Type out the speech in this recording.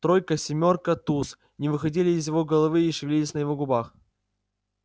тройка семёрка туз не выходили из его головы и шевелились на его губах